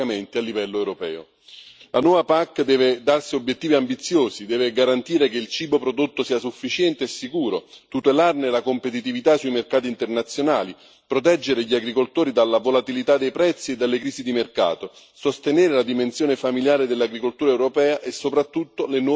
La nuova PAC deve darsi obiettivi ambiziosi, deve garantire che il cibo prodotto sia sufficiente e sicuro, tutelarne la competitività sui mercati internazionali, proteggere gli agricoltori dalla volatilità dei prezzi e dalle crisi di mercato, sostenere la dimensione familiare dell'agricoltura europea e soprattutto le nuove generazioni di agricoltori.